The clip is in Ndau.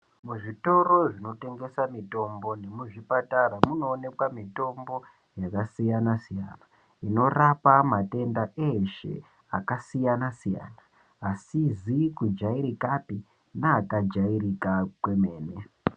Muzvitoro zvinotengese mitombo nemuzvipatara munoonekwa mitombo yakasiyanasiyana anorapa matenda eshe akasiyanasiyana asizi kujairikapi neakajairika kwemene.